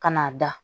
Ka n'a da